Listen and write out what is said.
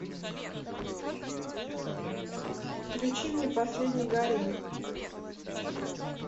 включи мне последний гарем